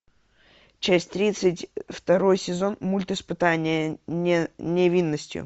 часть тридцать второй сезон мульт испытание невинностью